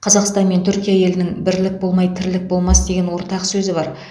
қазақстан мен түркия елінің бірлік болмай тірлік болмас деген ортақ сөзі бар